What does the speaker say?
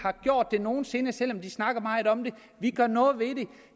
nogen sinde selv om de snakker meget om det vi gør noget ved